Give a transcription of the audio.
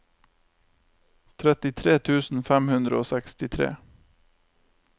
trettitre tusen fem hundre og sekstitre